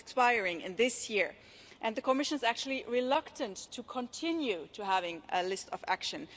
It expires this year and the Commission is actually reluctant to continue having a list of actions.